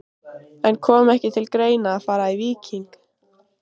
En kom ekki til greina að fara í Víking?